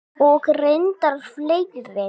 Og reyndar fleiri.